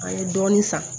An ye dɔɔnin san